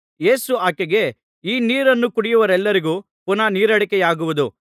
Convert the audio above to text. ಯೇಸು ಆಕೆಗೆ ಈ ನೀರನ್ನು ಕುಡಿಯುವವರೆಲ್ಲರಿಗೆ ಪುನಃ ನೀರಡಿಕೆಯಾಗುವುದು